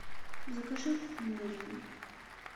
закажи мандарины